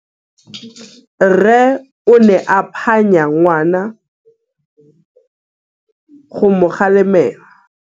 Rre o ne a phanya ngwana go mo galemela.